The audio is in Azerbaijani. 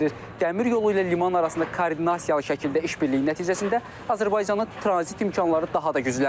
Dəmir yolu ilə liman arasında koordinasiyalı şəkildə işbirliyi nəticəsində Azərbaycanın tranzit imkanları daha da güclənir.